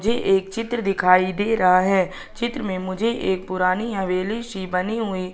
झे एक चित्र दिखाई दे रहा है चित्र में मुझे एक पुरानी हवेली सी बनी हुई--